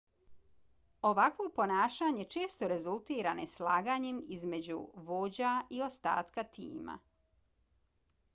ovakvo ponašanje često rezultira neslaganjem između vođa i ostatka tima